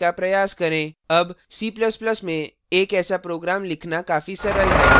अब c ++ में एक ऐसा program लिखना काफी सरल है